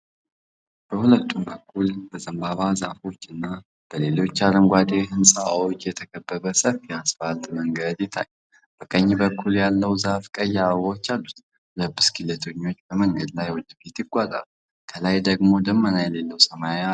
በሁለቱም በኩል በዘንባባ ዛፎች እና በሌሎች አረንጓዴ ዕፅዋት የተከበበ ሰፊ የአስፋልት መንገድ ይታያል። በቀኝ በኩል ያለው ዛፍ ቀይ አበባዎች አሉት። ሁለት ብስክሌተኞች በመንገዱ ላይ ወደፊት ይጓዛሉ፣ ከላይ ደግሞ ደመና የሌለው ሰማያዊ ሰማይ አለ።